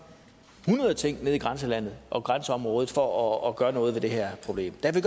hundrede ting nede i grænselandet og i grænseområdet for at gøre noget ved det her problem der kan